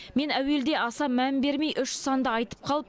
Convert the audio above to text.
мен әуелде аса мән бермей үш санды айтып қалып